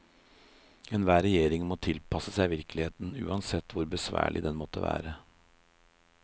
Enhver regjering må tilpasse seg virkeligheten, uansett hvor besværlig den måtte være.